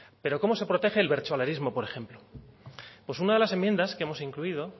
pero cómo se protege el bertsolarismo por ejemplo pues una de las enmiendas que hemos incluido